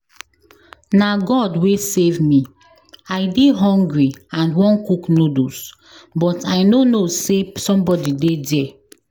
Na God wey save me. I dey hungry and wan cook noodles but I no know say somebody dey there.